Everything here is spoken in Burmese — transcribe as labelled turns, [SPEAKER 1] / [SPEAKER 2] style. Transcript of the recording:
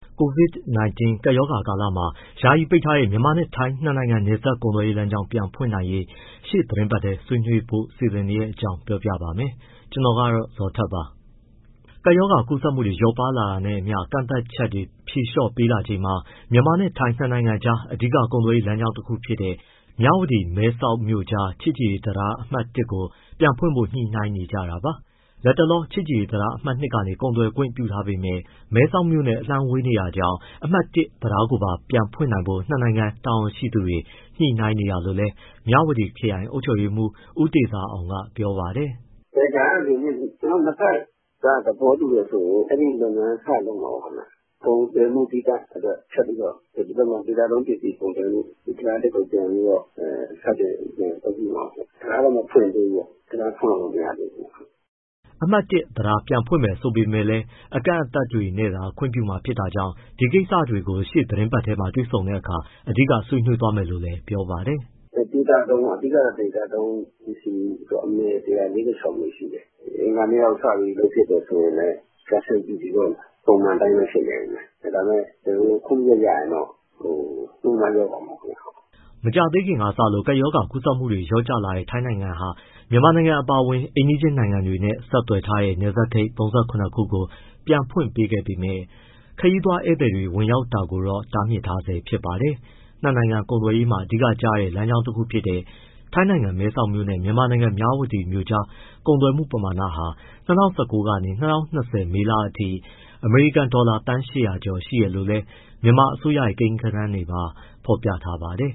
[SPEAKER 1] COVID-19 ကပ်ရောဂါကာလမှာ ယာယီပိတ်ထားတဲ့ မြန်မာနဲ့ ထိုင်း ၂ နိုင်ငံ နယ်စပ်ကုန်သွယ်ရေးလမ်းကြောင်း ပြန်ဖွင့်နိုင်ရေး ရှေ့သီတင်းထဲ ဆွေးနွေးဖို့ စီစဉ်နေတဲ့အကြောင်း ကိုဇော်ထက် ပြောပြပါမယ်။ ကပ်ရောဂါကူးစက်မှုတွေ လျော့ပါးလာတာနဲ့အမျှ ကန့်သတ်ချက်တွေကို ဖြေလျှော့ပေးလာချိန်မှာ မြန်မာနဲ့ထိုင်း ၂ နိုင်ငံကြား အဓိက ကုန်သွယ်ရေးလမ်းကြောင်းတခုဖြစ်တဲ့ မြဝတီနဲ့ မဲဆောက်မြို့ကြား ချစ်ကြည်ရေးတံတား အမှတ် (၁) ကို ပြန်ဖွင့်ဖို့ ညှိနှိုင်းနေကြတာပါ။ လက်တလော ချစ်ကြည်ရေးတံတားအမှတ် ( ၂) ကနေ ကုန်သွယ်ခွင့်ပြုထားပေမဲ့ မဲဆောက်မြို့နဲ့ အလှမ်းဝေးနေတာကြောင့် အမှတ် (၁) တံတာကိုပါ ပြန်ဖွင့်နိုင်ဖို့ ၂ နိုင်ငံတာဝန်ရှိသူတွေ ညှိနှိုင်းနေတာလို့လည်း မြဝတီခရိုင် အုပ်ချုပ်ရေးမှူး ဦးတေဇာအောင်က ပြောပါတယ်။ “ ဒါကကျ
[SPEAKER 2] နော်တို့ နှစ်ဘက်က သဘောတူတယ်ဆိုရင် အဲဒီလုပ်ငန်း စလုပ်မှာပေါ့ခင်ဗျ။ ကုန်သွယ်မှု သီးသန့်အတွက် ထပ်ပြီးတော့ ဒေသတွင်းပစ္စည်း ကုန်သွယ်မှု တံတား (၁) ကိုပြန်ပြီးတော့ စတင်အသုံးပြုမှာခင်ဗျ။ တံတားတော့ မဖွင့်သေးဘူးပေါ့၊ တံတား ဖွင့်လို့တော့ မရသေးဘူး။
[SPEAKER 1] ” အမှတ် ( ၁) တံတား ပြန်ဖွင့်မယ် ဆိုပေမဲ့လည်း အကန့်အသတ်တွေနဲ့သာ ခွင့်ပြုမှာ ဖြစ်တာကြောင့် ဒီကိစ္စတွေကို ရှေ့သီတင်းပတ် တွေ့ဆုံတဲ့အခါ အဓိက ဆွေးနွေးမယ်လို့လည်း ပြောပါတယ်
[SPEAKER 2] ။ " အဓိကတော့ ဒေသသုံးပေါ့၊ ဒေသသုံးပစ္စည်း အမယ် ၁၄၆ မျိုးရှိတယ်၊ အင်္ဂါနေ့လောက် စပြီးလုပ်ဖြစ်တယ် ဆိုရင်လည်း custom duty ( အကောက်ခွန်) ပုံမှန်အတိုင်းပဲ ဖြစ်နေဦးမယ်။ ဒါပေမဲ့ ကျနော်တို့ ( အစည်းအဝေးမှာ) ခွင့်ပြုချက် ရရင်တော့ နှုန်းတား လျော့သွားမှာပေါ့ခင်ဗျ။
[SPEAKER 1] " မကြာသေးခင်စလို့ ကပ်ရောဂါ ကူးစက်မှုတွေ လျော့ကျလာတဲ့ ထိုင်းနိုင်ငံဟာ မြန်မာနိုင်ငံ အပါအဝင် အိမ်နီးချင်းနိုင်ငံတွေနဲ့ ဆက်သွယ်ထားတဲ့ နယ်စပ်ဂိတ် ၃၇ ခုကိုပြန်ဖွင့်ပေးခဲ့ပေမဲ့ ခရီးသွားဧည့်သည်တွေ ဝင်ရောက်တာကိုတော့ တားမြစ်ထားဆဲဖြစ်ပါတယ်။ ၂ နိုင်ငံ ကုန်သွယ်ရေးမှာ အဓိကကျတဲ့ လမ်းကြောင်းတခုဖြစ်တဲ့ ထိုင်းနိုင်ငံမဲဆောက်မြို့နဲ့ မြန်မာနိုင်ငံ မြဝတီမြို့ကြား ကုန်သွယ်မှု ပမာဏဟာ ၂၀၁၉ ကနေ ၂၀၂၀ မေလအထိ အမေရိကန်ဒေါ်လာ သန်း ၈၀၀ ကျော်ရှိတယ်လို့လည်း မြန်မာအစိုးရရဲ့ ကိန်းဂဏန်းတွေမှာ ဖော်ပြထားပါတယ်